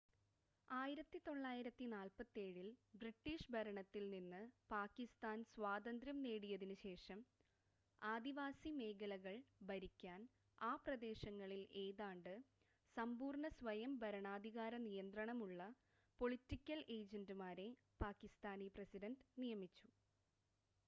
"1947-ൽ British ഭരണത്തിൽ നിന്ന് പാകിസ്ഥാൻ സ്വാതന്ത്യ്രം നേടിയതിന് ശേഷം ആദിവാസി മേഖലകൾ ഭരിക്കാൻ ആ പ്രദേശങ്ങളിൽ ഏതാണ്ട് സമ്പൂർണ്ണ സ്വയം ഭരണാധികാര നിയന്ത്രണമുളള "പൊളിറ്റിക്കൽ ഏജന്റ്മാരെ" പാകിസ്ഥാനി പ്രസിഡന്റ് നിയമിച്ചു.